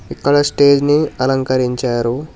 ఇక్కడ స్టేజ్ ని అలంకరించారు.